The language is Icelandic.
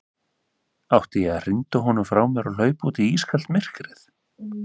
Átti ég að hrinda honum frá mér og hlaupa út í ískalt myrkrið?